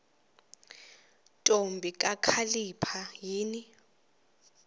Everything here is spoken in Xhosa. ntombi kakhalipha yini